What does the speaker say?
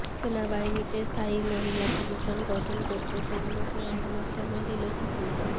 সেনাবাহিনীতে স্থায়ী মহিলা কমিশন গঠন করতে কেন্দ্রকে একমাস সময় দিল সুপ্রিম কোর্ট